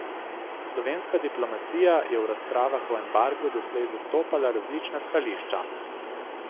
Slovenska diplomacija je v razpravah o embargu doslej zastopala različna stališča.